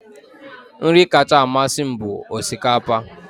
Nri kacha amasị m bụ osikapa